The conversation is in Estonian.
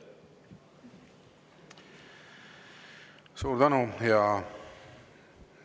Suur tänu!